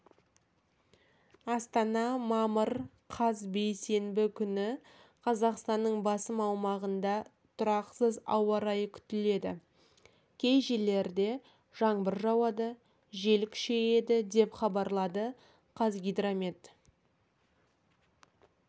астана мамыр қаз бейсенбі күні қазақстанның басым аумағында тұрақсыз ауа райы күтіледі кей жерлерде жаңбыр жауады жел күшейеді деп хабарлады қазгидромет